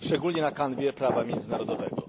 Szczególnie na kanwie prawa międzynarodowego.